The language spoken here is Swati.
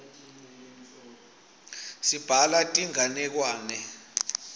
sibhala tinganekwane